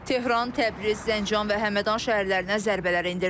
Tehran, Təbriz, Zəncan və Həmədan şəhərlərinə zərbələr endirilib.